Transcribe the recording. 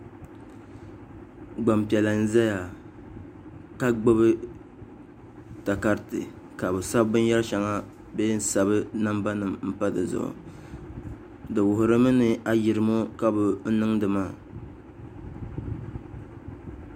gbampiɛla n-zaya ka gbubi takariti ka bɛ sabi binyɛr' shɛŋa bee n-sabi nambanima m-pa di zuɣu di wuhirimi ni ayirimo ka bɛ niŋdi maa